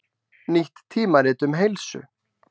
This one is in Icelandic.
Nýtt tímarit um heilsu